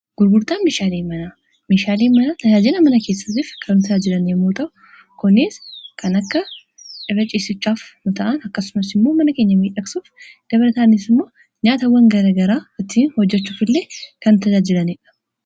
Gurgurtaan meeshaalee mana meeshaale mana tajaajila mana keessaatiif kan tajaajilan yommu ta'u kuniis kan akka irra cisichaaf nu ta'an akkasumas immoo mana keenya miidhagsuuf dalataanis immoo nyaatawwan garagaraa ittiin hojjachuuf illee kan tajaajilaniidha.